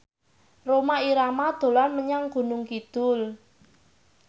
Rhoma Irama dolan menyang Gunung Kidul